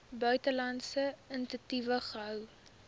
buitelandse entiteit gehou